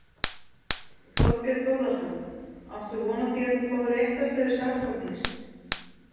Þorbjörn Þórðarson: Áttu von á því að þú fáir réttarstöðu sakbornings?